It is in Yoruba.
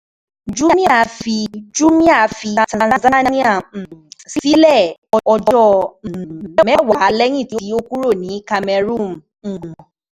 Jumia fi Jumia fi Tanzania um sílẹ̀, ọjọ́ um mẹ́wàá lẹ́yìn tó kúrò ní Cameroon um